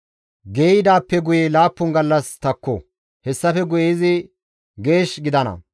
Geeyidaappe guye laappun gallas takko. Hessafe guye izi geesh gidana.